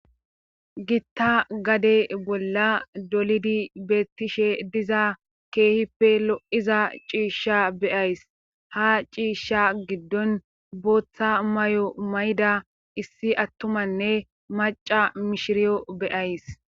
gitta gade bolla dolidi beettishe diza keehippe lo7iza ciishsha beyays ha ciishsha giddon booththa may7o mayda issi attumanne maca mishiriyo beyays